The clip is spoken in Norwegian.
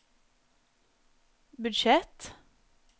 budsjett